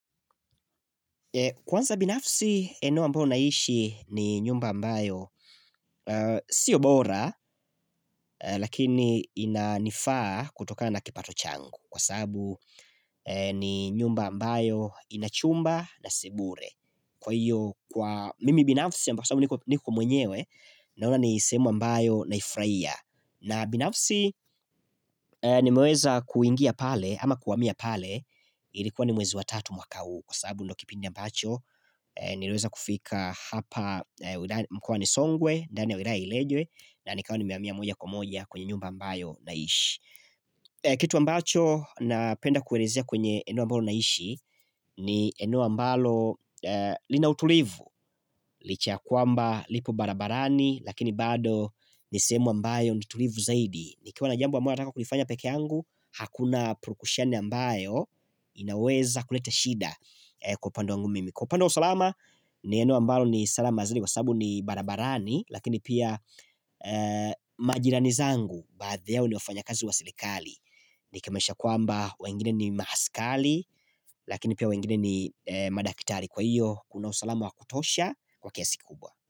Kwanza binafsi eneo ambayo naishi ni nyumba ambayo Sio bora lakini inanifaa kutokana na kipato changu Kwa sababu ni nyumba ambayo inachumba na sebure Kwa hiyo kwa mimi binafsi ambayo niko mwenyewe Naona ni sehemu ambayo naifurahia na binafsi nimeweza kuingia pale ama kuhamia pale Ilikuwa ni mwezi wa tatu mwaka huu kwa sababu ndo kipindi ambacho niliweza kufika hapa mkua nisongwe ndani ya uirailejwe na nikawa nimehamia moja kwa moja kwenye nyumba ambayo naishi kitu ambacho napenda kuerezea kwenye eneo ambayo naishi ni eneo ambalo lina utulivu licha ya kwamba lipo barabarani lakini bado nisehemu ambayo nitulivu zaidi nikiwa na jambo ambayo nataka kulifanya pekee yangu Hakuna purukishani ambayo inaweza kuleta shida kwa upande wangu mimi Kwa upande wa usalama ni eno ambalo ni salama azali kwa sababu ni barabarani Lakini pia majirani zangu baadhi yao ni wafanya kazi wa serikali Nikimaanisha kwamba wengine ni maaskali lakini pia wengine ni madakitari Kwa hiyo kuna usalama wa kutosha kwa kiasi kubwa.